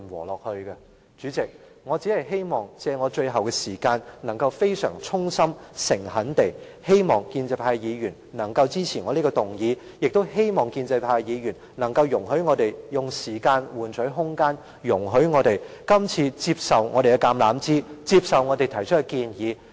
代理主席，我希望藉最後的發言時間，以非常衷心和誠懇的態度，呼籲建制派的議員支持我這項議案，更希望建制派議員容許我們以時間換取空間，接受我們今次伸出的橄欖枝，接受我們提出的建議。